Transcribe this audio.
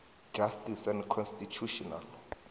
justice and constitutional